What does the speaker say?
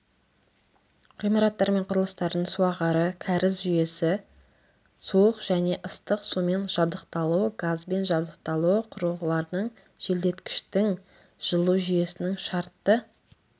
ғимараттар мен құрылыстардың суағары кәріз жүйесі суық және ыстық сумен жабдықталуы газбен жабдықталуы құрылғылардың желдеткіштің жылу жүйесінің шартты